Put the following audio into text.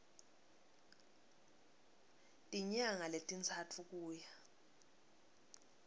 tinyanga letintsatfu kuya